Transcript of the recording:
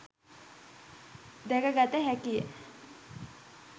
දැකගත හැකිය.